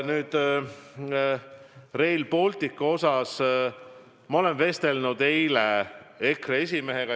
Nüüd, Rail Balticust ma vestlesin eile EKRE esimehega.